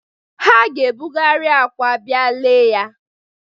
Ha ga-ebugheri akwa bịa lee ya.